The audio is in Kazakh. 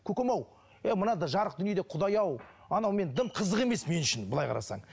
көкем ау е мынадай жарық дүниеде құдай ау анау мен дым қызық емес мен үшін былай қарасаң